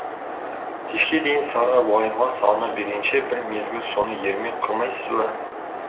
кешке дейін сары уайымға салына бергенше бір мезгіл соны ермек қылмайсыз ба